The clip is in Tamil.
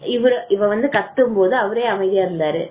இவரு வந்து கத்தும் போது அவரே அமைதியா இருந்தாரு